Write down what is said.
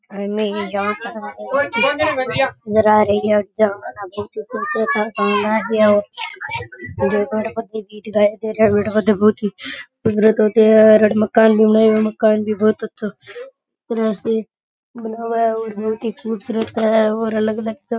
अने एक गांव मकान भी बोहोत ही खूबसूरत है और अलग अलग सब --